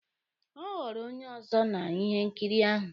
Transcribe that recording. Ọ ghọrọ onye ọzọ na ihe nkiri ahụ?